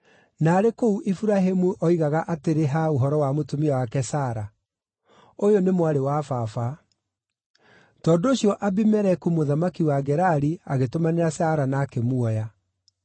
na arĩ kũu Iburahĩmu oigaga atĩrĩ ha ũhoro wa mũtumia wake Sara, “Ũyũ nĩ mwarĩ wa baba.” Tondũ ũcio Abimeleku mũthamaki wa Gerari agĩtũmanĩra Sara na akĩmuoya.